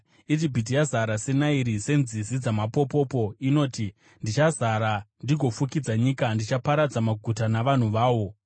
Ijipiti yazara seNairi, senzizi dzamapopopo. Inoti, “Ndichazara ndigofukidza nyika; ndichaparadza maguta navanhu vawo.”